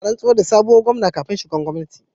Ina rantsar da sabon Gomna kafin shiga gwamnati